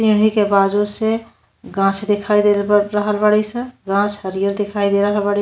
सीढ़ी के बाजू से गाछ दिखाई दे रल रहल बाड़ी स। गाछ हरियर दिखाई दे रहल बाड़ी --